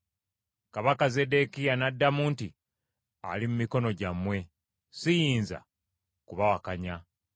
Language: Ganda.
Kabaka Zeddekiya n’addamu nti, “Ali mu mikono gyammwe, siyinza kubawakanya.”